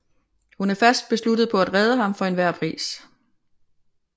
Hun er fast besluttet på at redde ham for enhver pris